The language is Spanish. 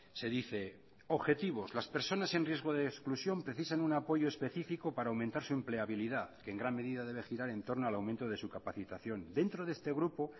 se dice objetivos las personas en riesgo de exclusión precisan un apoyo especifico para aumentar su empleabilidad que en gran medida debe girar en torno al aumento de su capacitación dentro de este grupo